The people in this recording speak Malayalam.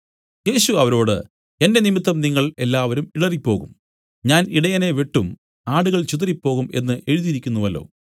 യേശു അവരോട് എന്റെ നിമിത്തം നിങ്ങൾ എല്ലാവരും ഇടറിപ്പോകും ഞാൻ ഇടയനെ വെട്ടും ആടുകൾ ചിതറിപ്പോകും എന്നു എഴുതിയിരിക്കുന്നുവല്ലോ